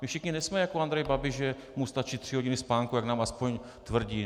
My všichni nejsme jako Andrej Babiš, že mu stačí tři hodiny spánku, jak nám aspoň tvrdí.